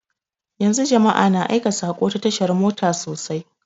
Yanzu jama'a na aika saƙo ta tasha mota sosai